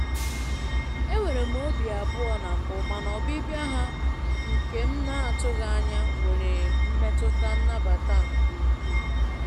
Enwere m obi abụọ na mbụ, mana ọbịbịa ha nke m na-atụghị anya nwere mmetụta nnabata nke ukwuu.